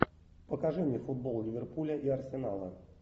покажи мне футбол ливерпуля и арсенала